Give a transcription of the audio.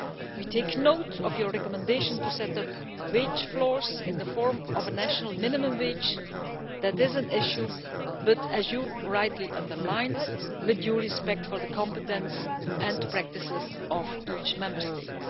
We take note of your recommendation to set up wage floors in the form of a national minimum wage, as that is an issue, but as you rightly underline with due respect for the competence and practices of each Member State.